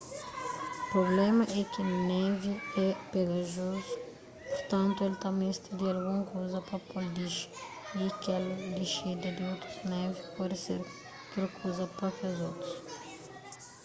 prubléma é ki névi é pegajozu purtantu el ta meste di algun kuza pa po-l dixi y kel dixida di otus névi pode ser kel kuza pa kes otu